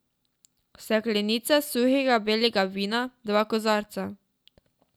Steklenica suhega belega vina, dva kozarca.